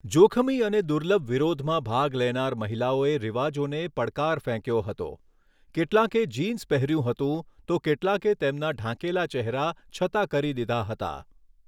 જોખમી અને દુર્લભ વિરોધમાં ભાગ લેનાર મહિલાઓએ રિવાજોને પડકાર ફેંક્યો હતો, કેટલાંકે જીન્સ પહેર્યું હતું, તો કેટલાંકે તેમના ઢાંકેલા ચહેરા છતા કરી દીધા હતા.